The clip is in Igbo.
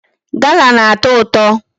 Gala na-atọ ụtọ.